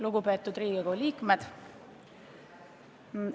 Lugupeetud Riigikogu liikmed!